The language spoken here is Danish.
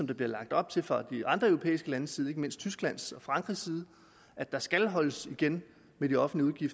der bliver lagt op til fra de andre europæiske landes side ikke mindst tysklands og frankrigs side at der skal holdes igen med de offentlige